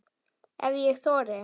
Ef ég þori.